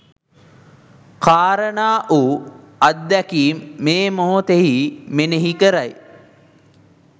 කාරණා වූ අත්දැකීම් මේ මොහොතෙහි මෙනෙහි කරයි.